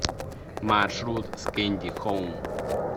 маршрут скэнди хоум